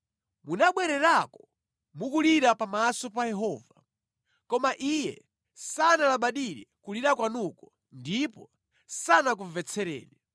Munabwererako mukulira pamaso pa Yehova, koma Iye sanalabadire kulira kwanuko ndipo sanakumvetsereni.